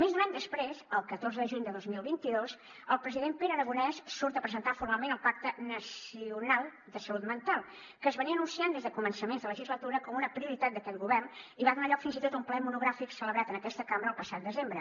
més d’un any després el catorce de juny de dos mil veinte dos el president pere aragonès surt a presentar formalment el pacte nacional de salut mental que s’anunciava des de començaments de legislatura com una prioritat d’aquest govern i va donar lloc fins i tot a un ple monogràfic celebrat en aquesta cambra el passat desembre